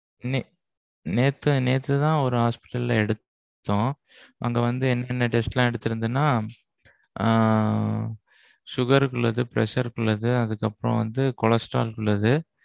நேத்துதான் நேத்துதான் ஒரு hospital ல எடுத்தோம். அங்க வந்து என்னென்ன test எல்லாம் எடுத்திருந்ததுனா ஆஹ் Sugar க்கு உள்ளது, pressure க்கு உள்ளது, அதுக்கு அப்பறோம் வந்து cholesterol க்கு உள்ளது.